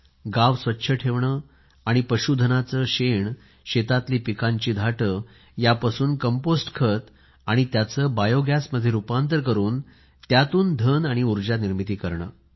गावे स्वच्छ ठेवणे आणि पशुधनाचे शेण शेतातली पिकांची धाटे यापासून कंपोस्ट खत आणि त्याचे बायोगॅसमध्ये रुपांतर करून त्यातून धन आणि उर्जा निर्मिती करणे